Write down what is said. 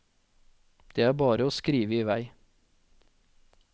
Det er bare å skrive i vei.